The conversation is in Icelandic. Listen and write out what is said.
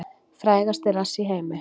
Frægasti rass í heimi